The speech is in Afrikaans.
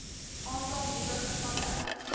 aantal nuwe gevalle